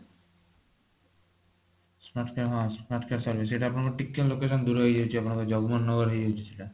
smart care ହଁ smart care service ସେଇଟା ଆପଣଙ୍କର ଟିକେ location ଦୂର ହେଇଯାଉଛି ଆପଣଙ୍କ ଜଗମନ ନଗର ହେଇଯାଉଛି ସେଟା